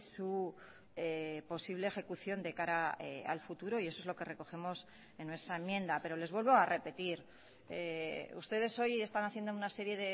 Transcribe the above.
su posible ejecución de cara al futuro y eso es lo que recogemos en nuestra enmienda pero les vuelvo a repetir ustedes hoy están haciendo una serie